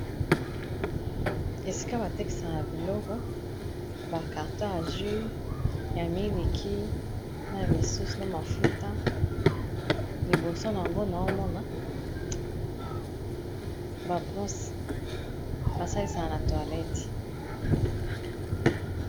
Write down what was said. esika batekisaka ya biloko bacarter ya jus ya miliki na misusu na mafuta liboso na yango na omona babrose basalisaka na toilette